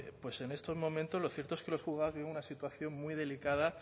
en estos momentos lo cierto es que los juzgados viven una situación muy delicada